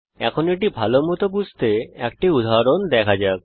এখন এটি ভালোমত বুঝতে একটি উদাহরণ দেখা যাক